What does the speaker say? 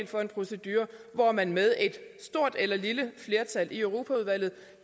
for en procedure hvor man med et stort eller lille flertal i europaudvalget